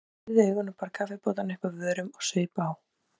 Ég pírði augun og bar kaffibollann upp að vörunum og saup á.